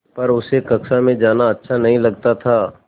पर उसे कक्षा में जाना अच्छा नहीं लगता था